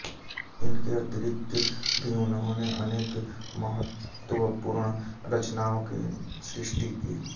इसके अतिरिक्त भी उन्होंने अनेक महत्त्वपूर्ण रचनाओं की सृष्टि की